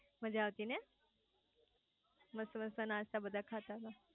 માજા આવતી ને મસ્ત મસ્ત નાસ્તા બધા ખાતા તા